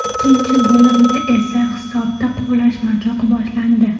Ikkinchi bo‘limda esa hisobda quvlashmachoq boshlandi.